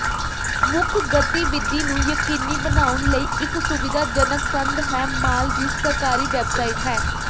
ਮੁੱਖ ਗਤੀਵਿਧੀ ਨੂੰ ਯਕੀਨੀ ਬਣਾਉਣ ਲਈ ਇੱਕ ਸੁਵਿਧਾਜਨਕ ਸੰਦ ਹੈ ਮਾਲ ਦੀ ਸਰਕਾਰੀ ਵੈਬਸਾਈਟ ਹੈ